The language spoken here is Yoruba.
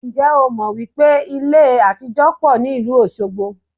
Ǹjẹ́ o mọ̀ wípé ilé àtijó pọ̀ ní ìlú Osogbo?